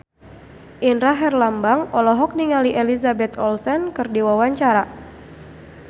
Indra Herlambang olohok ningali Elizabeth Olsen keur diwawancara